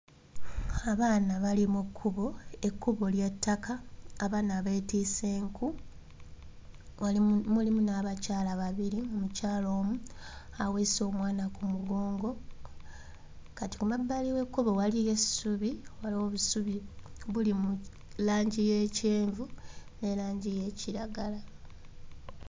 Abaana bali mu kkubo, ekkubo lya ttaka, abaana beetisse nku walimu mulimu n'abakyala babiri mukyala omu aweese omwana ku mugongo. Kati ku mabbali w'ekkubo waliyo essubi, waliwo obusubi buli mu langi y'ekyenvu ne langi y'ekiragala.